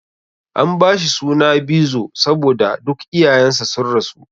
An bashi suna Bizo saboda duk iyayen sa sun rasu.